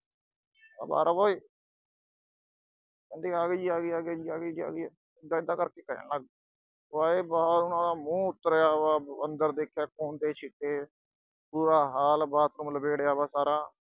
ਮੈਂ ਕਿਹਾ ਬਾਹਰ ਆਓ ਓਏ ਕਹਿੰਦੇ ਆਗੇ ਜੀ ਆਗੇ ਜੀ ਆਗੇ ਜੀ ਆਗੇ, ਐਦਾ-ਐਦਾਂ ਕਰਕੇ ਕਹਿਣ ਲਾਗੇ, ਉਹ ਆਏ ਬਾਹਰ, ਉਨ੍ਹਾਂ ਦਾ ਮੂੰਹ ਉਤਰਿਆ ਵਿਆ। ਅੰਦਰ ਦੇਖਿਆ ਖੂਨ ਦੇ ਛਿੱਟੇ, ਬੁਰਾ ਹਾਲ, ਬਾਥਰੂਮ ਲਬੇੜਿਆ ਬਿਆ ਸਾਰਾ।